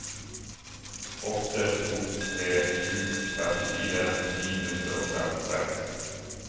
åtte to tre sju trettifire ni hundre og trettiseks